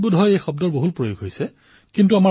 বিদেশত বোধহয় এই শব্দৰ প্ৰয়োগ অধিক হয়